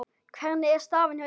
Hvernig er staðan hjá ykkur?